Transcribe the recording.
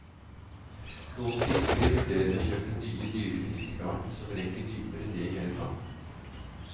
Noen fiskere vurderer å kjøpe nye, dyre fiskegarn som rekker dypere ned i elva.